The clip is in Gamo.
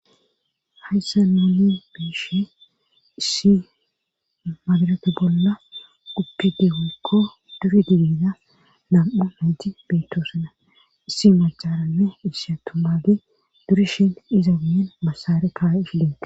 Hayssa nooni biishe issi madarata bolla uppidegokko dure didida nam'u nayti beettosana issi macarame issatu maade durishin iza wiyen masaare kaay fidene.